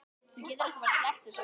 Þú getur ekki sleppt þessu.